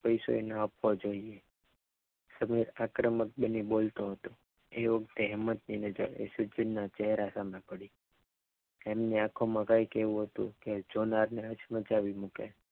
પૈસો એને આપવો જોઈએ આક્રમક બંને બોલતો હતો એ વખતે હેમંત ની નજર પ્રસિધ્ધિના ચહેરા સામે પડી તેમની આંખોમાં કંઈક એવું હતું જોનારને હાથ મચાવી મૂકી.